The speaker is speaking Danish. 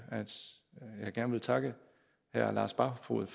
gerne takke herre lars barfoed